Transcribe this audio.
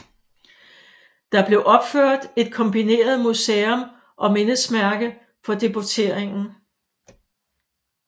Der blev opført et kombineret museum og mindesmærke for deporteringen